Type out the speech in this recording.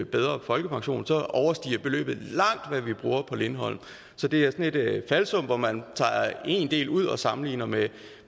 bedre folkepension overstiger beløbet langt hvad vi bruger på lindholm så det er et falsum hvor man tager én del ud og sammenligner med